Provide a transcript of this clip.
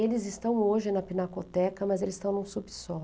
Eles estão hoje na Pinacoteca, mas eles estão em um subsolo.